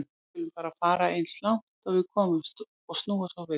Við skulum bara fara eins langt og við komumst og snúa svo við.